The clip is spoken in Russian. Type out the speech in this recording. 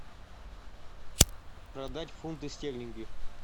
продать фунты стерлинги